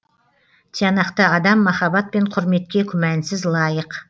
тиянақты адам махаббат пен құрметке күмәнсіз лайық